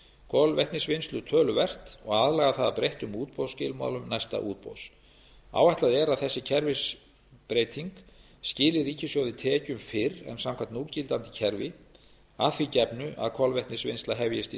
kolvetnisvinnslu töluvert og aðlaga það að breyttum útboðsskilmálum næsta útboðs áætlað er að þessi kerfisbreyting skili ríkissjóði tekjum fyrr en samkvæmt núgildandi kerfi að því gefnu að kolvetnisvinnsla hefjist í